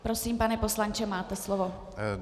Prosím, pane poslanče máte slovo.